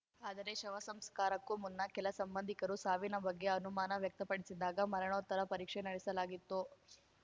ಆದರೆ ಶವಸಂಸ್ಕಾರಕ್ಕೂ ಮುನ್ನ ಕೆಲ ಸಂಬಂಧಿಕರು ಸಾವಿನ ಬಗ್ಗೆ ಅನುಮಾನ ವ್ಯಕ್ತಪಡಿಸಿದಾಗ ಮರಣೋತ್ತರ ಪರೀಕ್ಷೆ ನಡೆಸಲಾಗಿತ್ತು